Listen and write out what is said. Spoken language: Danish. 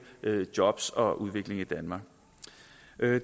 jobs og udvikling i danmark